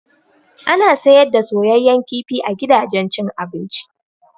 Ana siyar da soyayyan kifi a gidajen cin abinci.